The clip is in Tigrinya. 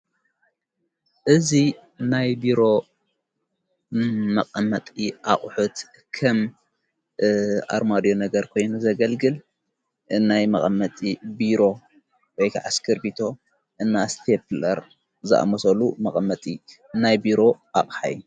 እዙ ናይብሮ መቐመጢ ኣቝሑት ኸም ኣርማድዮ ነገር ኮይኒ ዘገልግል ናይ መቐመጢ ብሮ ወይከዓስክር ቢቶ እና ስተብለር ዝኣመሶሉ መቐመጢ ናይ ብሮ ኣቕኃይ።